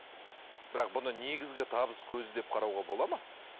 бірақ бұны негізгі табыс көзі деп қарауға болады ма